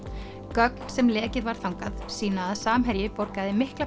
gögn sem lekið var þangað sýna að Samherji borgaði mikla